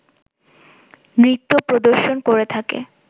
নৃত্য প্রদর্শন করে থাকে